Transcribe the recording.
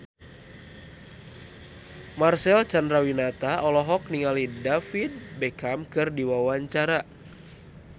Marcel Chandrawinata olohok ningali David Beckham keur diwawancara